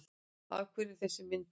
Af hverju er þessi mynd hérna?